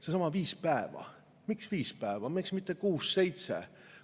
Seesama viis päeva – miks viis päeva, miks mitte kuus-seitse?